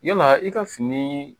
Yala i ka fini